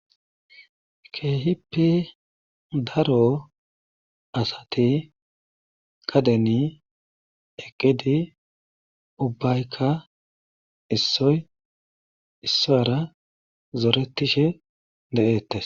Keeehippe daro asati gadeni eqqidi ubbayka issoy issuwaara zorettishe de7eettees.